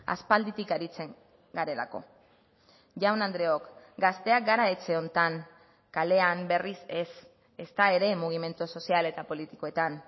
aspalditik aritzen garelako jaun andreok gazteak gara etxe honetan kalean berriz ez ezta ere mugimendu sozial eta politikoetan